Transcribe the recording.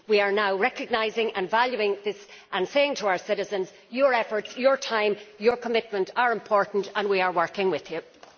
We are now recognising and valuing this and saying to our citizens your efforts, your time, your commitment are important, and we are working with you.